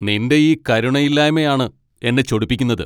നിൻ്റെ ഈ കരുണയില്ലായ്മയാണ് എന്നെ ചൊടിപ്പിക്കുന്നത്.